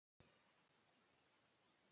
Vonandi hafði hún ekki stolið honum.